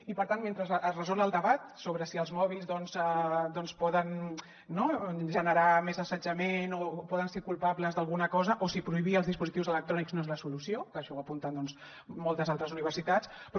i per tant mentre es resol el debat sobre si els mòbils poden generar més assetjament o poden ser culpables d’alguna cosa o si prohibir els dispositius electrònics no és la solució que això ho apunten moltes altres universitats